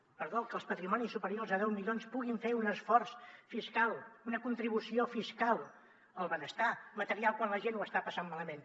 perdó que els patrimonis superiors a deu milions puguin fer un esforç fiscal una contribució fiscal al benestar material quan la gent ho està passant malament